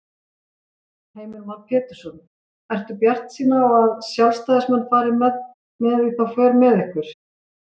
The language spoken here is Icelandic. Heimir Már Pétursson: Ertu bjartsýn á að sjálfstæðismenn fari með í þá för með ykkur?